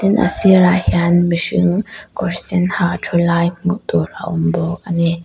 tin a sîrah hian mihring kawr sen ha ṭhu lai hmuh tûr a awm baw a ni.